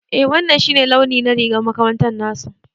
Eh wannan shi ne launi na rigar makaranta nasu.